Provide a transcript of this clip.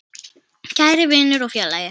Kæri vinur og félagi.